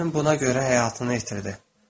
Bacım buna görə həyatını itirdi.